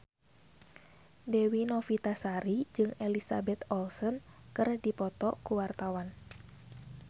Dewi Novitasari jeung Elizabeth Olsen keur dipoto ku wartawan